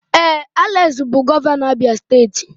Ee, Alex bụ gọvanọ Abia steeti